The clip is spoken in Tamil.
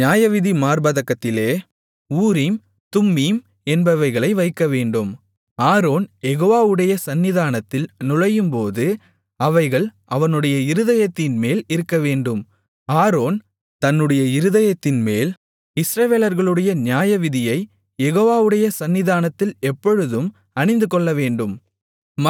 நியாயவிதி மார்ப்பதக்கத்திலே ஊரீம் தும்மீம் என்பவைகளை வைக்கவேண்டும் ஆரோன் யெகோவாவுடைய சந்நிதானத்தில் நுழையும்போது அவைகள் அவனுடைய இருதயத்தின்மேல் இருக்கவேண்டும் ஆரோன் தன்னுடைய இருதயத்தின்மேல் இஸ்ரவேலர்களுடைய நியாயவிதியைக் யெகோவாவுடைய சந்நிதானத்தில் எப்பொழுதும் அணிந்துகொள்ளவேண்டும்